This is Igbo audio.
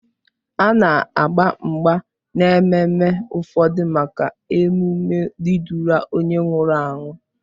A na-agba mgba n'ememme ụfọdụ maka emume ịdụla onye nwụrụ anwụ.